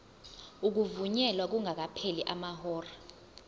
ukuvunyelwa kungakapheli amahora